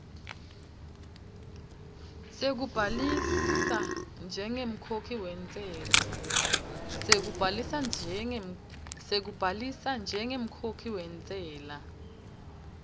sekubhalisa njengemkhokhi wentsela